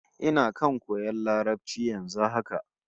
Ina kan koyan Larabci yanzu haka